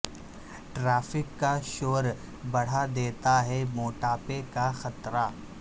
traffic کا شور بڑھا د یتا ہے موٹاپے کا خطرہ